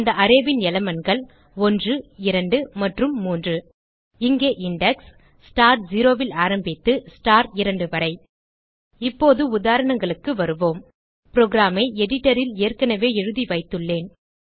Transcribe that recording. அந்த அரே ன் elementகள் 12 மற்றும் 3 இங்கே இண்டெக்ஸ் ஸ்டார் 0 ல் ஆரம்பித்து ஸ்டார் 2 வரை இப்போது உதாரணங்களுக்கு வருவோம் programஐ editorல் ஏற்கனவே எழுதிவைத்துள்ளேன்